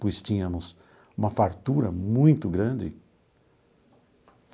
Pois tínhamos uma fartura muito grande.